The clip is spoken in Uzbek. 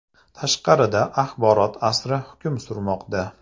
Tashqarida axborot asri hukm surmoqda!).